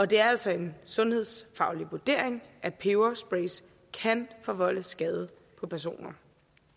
det er altså en sundhedsfaglig vurdering at peberspray kan forvolde skade på personer